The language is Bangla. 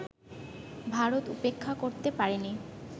ভারত উপেক্ষা করতে পারেনি